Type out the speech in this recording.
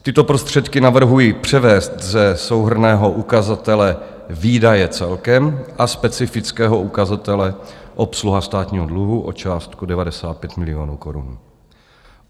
Tyto prostředky navrhuji převést ze souhrnného ukazatele Výdaje celkem a specifického ukazatele Obsluha státního dluhu o částku 95 milionů korun.